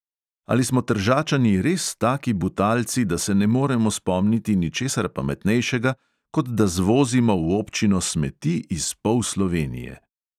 Ali smo tržačani res taki butalci, da se ne moremo spomniti ničesar pametnejšega, kot da zvozimo v občino smeti iz pol slovenije.